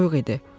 Soyuq idi.